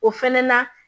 O fɛnɛ na